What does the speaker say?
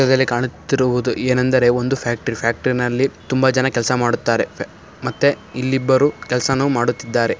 ಇದರಲ್ಲಿ ಕಾಣುತ್ತಿರುವುದು ಏನೆಂದರೆ ಒಂದು ಫ್ಯಾಕ್ಟರಿ . ಫ್ಯಾಕ್ಟರಿ ನಲ್ಲಿ ತುಂಬಾ ಜನ ಕೆಲಸ ಮಾಡುತ್ತಾರೆ. ಮತ್ತೆ ಇಲ್ಲಿಬ್ಬರು ಕೆಲ್ಸನೂ ಮಾಡುತ್ತಿದ್ದಾರೆ.